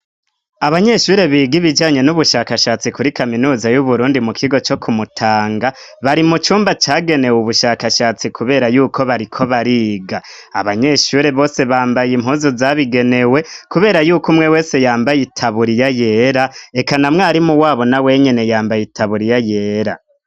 Abanyeshure biga ibijanye n'ubushakashatsi kuri kaminuza y'uburundi mukigo co kumutanga bari mucumba cagenewe ubushakashatsi kubera yuko bariko bariga. Abanyeshure bose bambaye impuzu zabigenewe kubera yuko umwe wese yambaye itaburiya yera eka na mwarimu wabo nawenyene yambaye itaburiya yera.